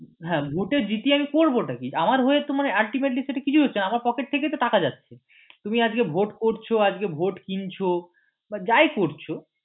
হ্যাঁ ভোটে জিতিয়ে আমি করবো টা কি আমার হয়ে তোমার ultimately সেটা কিছুই হচ্ছেনা আমার pocket থেকেই তো টাকা যাচ্ছে তুমি আজকে ভোট করছ আজকে ভোট কিনছ বা যাই করছ